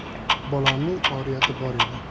Bolamning oriyati bor edi.